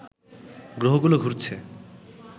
গ্রহগুলো ঘুরছে